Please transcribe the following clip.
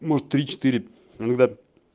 может три четыре иногда